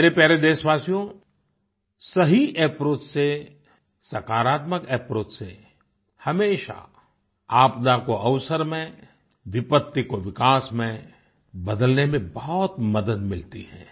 मेरे प्यारे देश्वासियो सही अप्रोच से सकारात्मक अप्रोच से हमेशा आपदा को अवसर में विपत्ति को विकास में बदलने में बहुत मदद मिलती है